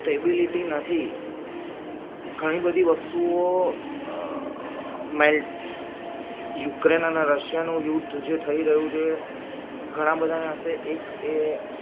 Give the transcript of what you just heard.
stability નથી ઘણી બધી વસ્તુઓ અ યુક્રેન અને રશિયાનો યુદ્ધ જે થઈ રહ્યું છે ઘણા બધા ના હસે એક એ